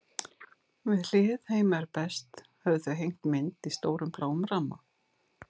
Við hlið heima er best höfðu þau hengt mynd í stórum, bláum ramma.